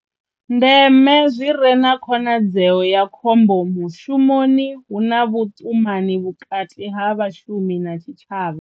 Ndeme zwi re na khonadzeo ya khombo mushumoni hu na vhuṱumani vhukati ha vhashumi na tshitshavha.